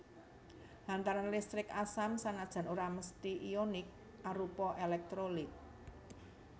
Hantaran listrik asam sanajan ora mesthi ionik arupa èlèktrolit